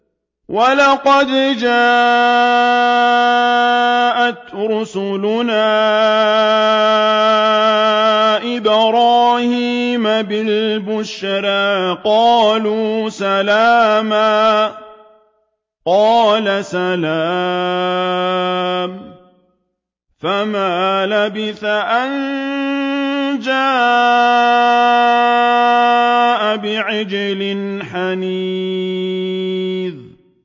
وَلَقَدْ جَاءَتْ رُسُلُنَا إِبْرَاهِيمَ بِالْبُشْرَىٰ قَالُوا سَلَامًا ۖ قَالَ سَلَامٌ ۖ فَمَا لَبِثَ أَن جَاءَ بِعِجْلٍ حَنِيذٍ